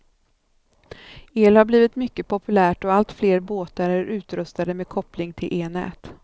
El har blivit mycket populärt och allt fler båtar är utrustade med koppling till elnät.